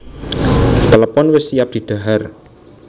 Klepon wis siap didhahar